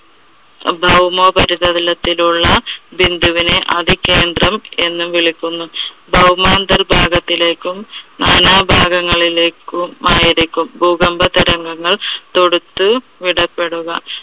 അഹ് ഭൗമോപരിതലത്തിലുള്ള ബിന്ദുവിന് അധികേന്ദ്രം എന്ന് വിളിക്കുന്നു. ഭൗമ അന്തർഭാഗത്തിലേക്കും നാനാഭാഗങ്ങളിലേക്കും ആയിരിക്കും ഭൂകമ്പ തരംഗങ്ങൾ തൊടുത്തും ഇടപെടുക.